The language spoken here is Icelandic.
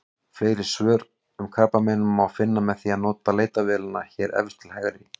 Fleiri svör um krabbamein má finna með því að nota leitarvélina hér efst til hægri.